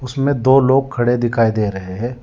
दो लोग खड़े दिखाई दे रहे हैं।